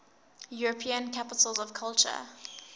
european capitals of culture